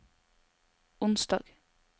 onsdag